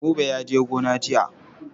Buba ya je gona jiya.